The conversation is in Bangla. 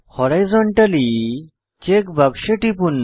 হরাইজন্টালি চেক বাক্সে টিপুন